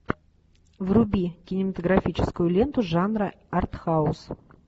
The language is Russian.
вруби кинематографическую ленту жанра арт хаус